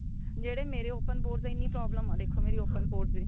ਜਿਹੜੇ ਮੇਰੇ open pose ਏ ਇੰਨੀ problem ਏ ਦੇਖੋ ਮੇਰੀ open pose ਦੀ